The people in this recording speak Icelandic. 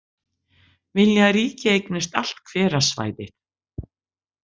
Vilja að ríkið eignist allt hverasvæðið